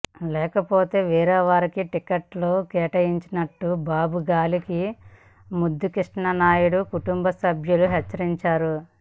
లేకపోతే వేరేవారికి టిక్కెట్టు కేటాయించనున్నట్టు బాబు గాలి ముద్దుకృష్ణమనాయుడు కుటుంబసభ్యులను హెచ్చరించారు